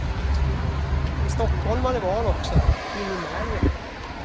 Stockholmare var han också, in i märgen.